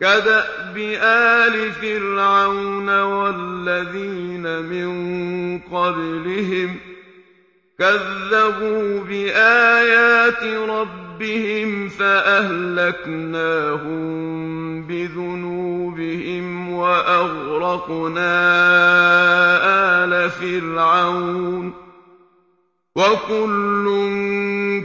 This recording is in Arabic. كَدَأْبِ آلِ فِرْعَوْنَ ۙ وَالَّذِينَ مِن قَبْلِهِمْ ۚ كَذَّبُوا بِآيَاتِ رَبِّهِمْ فَأَهْلَكْنَاهُم بِذُنُوبِهِمْ وَأَغْرَقْنَا آلَ فِرْعَوْنَ ۚ وَكُلٌّ